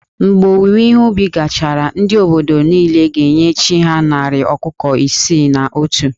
Mgbe owuwe ihe ubi gachara, ndị obodo niile ga-enye chí ha narị ọkụkọ isii na otu